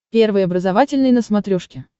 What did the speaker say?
первый образовательный на смотрешке